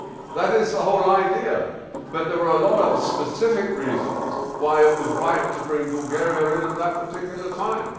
That is the whole idea, but there are a lot of specific reasons why it was right to bring Bulgaria in at that particular time.